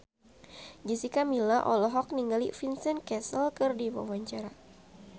Jessica Milla olohok ningali Vincent Cassel keur diwawancara